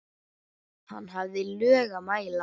Hann hafði lög að mæla.